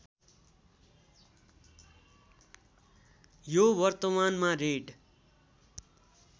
यो वर्तमानमा रेड